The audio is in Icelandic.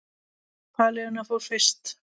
Pálína fór fyrst.